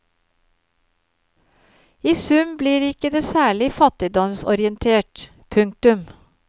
I sum blir ikke det særlig fattigdomsorientert. punktum